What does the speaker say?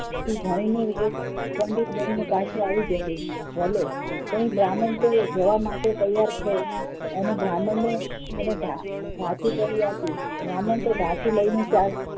ભણીને પંડિતબની ને પાછો આવી જશે ભલે પણ બ્રાહ્મણ તો જવા માટે તૈયાર થયો અને બ્રાહ્મણ ને એને ભાથું કરી આપ્યું બ્રાહ્મણ તો ભાથું લઇ ને ચાલતો